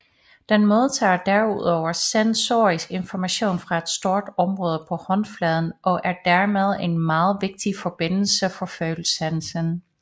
Den modtager derudover sensorisk information fra et stort område på håndfladen og er dermed en meget vigtig forbindelse for følesansen